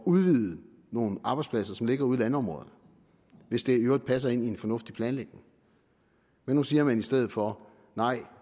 udvide nogle arbejdspladser som ligger ude i landområderne hvis det i øvrigt passer ind i en fornuftig planlægning men nu siger man i stedet for nej